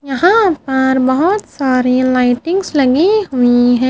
यहां पर बहोत सारे लाइटिंग्स लगी हुई है।